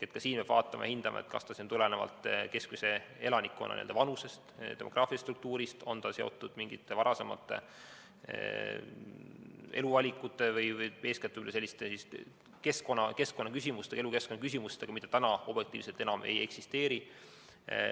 Ka siin peab vaatama ja hindama, kas see tuleneb elanikkonna keskmisest vanusest, demograafilisest struktuurist, on see seotud mingite varasemate eluvalikute või eeskätt selliste elukeskkonna küsimustega, mida objektiivselt enam ei eksisteeri.